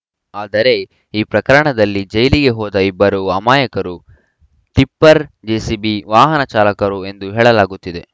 ಆದರೆ ಈ ಪ್ರಕರಣದಲ್ಲಿ ಜೈಲಿಗೆ ಹೋದ ಇಬ್ಬರು ಅಮಾಯಕರು ಟಿಪ್ಪರ್‌ ಜೆಸಿಬಿ ವಾಹನ ಚಾಲಕರು ಎಂದು ಹೇಳಲಾಗುತ್ತಿದೆ